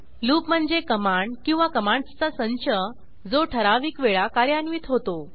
loop म्हणजे command किंवा कमांडसचा संच जो ठराविक वेळा कार्यान्वित होतो